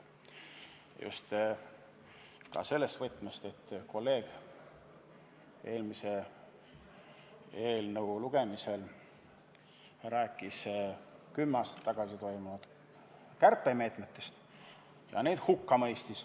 Seda just ka seepärast, et üks kolleeg rääkis eelmise eelnõu lugemisel kümme aastat tagasi rakendatud kärpemeetmetest ja mõistis need hukka.